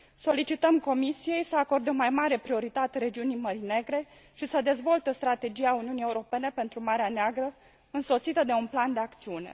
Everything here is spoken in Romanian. Solicităm Comisiei să acorde o mai mare prioritate regiunii Mării Negre și să dezvolte o strategie a Uniunii Europene pentru Marea Neagră, însoțită de un plan de acțiune.